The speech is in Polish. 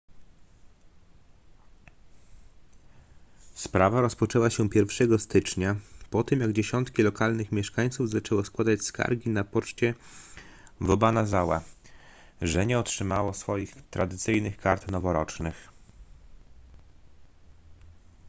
sprawa rozpoczęła się 1 stycznia po tym jak dziesiątki lokalnych mieszkańców zaczęło składać skargi na poczcie w obanazawa że nie otrzymało swoich tradycyjnych kart noworocznych